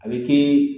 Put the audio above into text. A bɛ kɛ